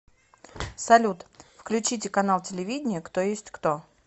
салют включите канал телевидения кто есть кто